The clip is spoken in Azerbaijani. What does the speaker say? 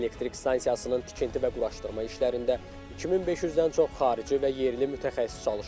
Elektrik stansiyasının tikinti və quraşdırma işlərində 2500-dən çox xarici və yerli mütəxəssis çalışıb.